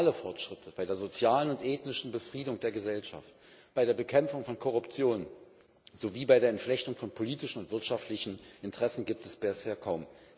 Reale Fortschritte bei der sozialen und ethnischen Befriedung der Gesellschaft, bei der Bekämpfung von Korruption sowie bei der Entflechtung von politischen und wirtschaftlichen Interessen gibt es bisher kaum.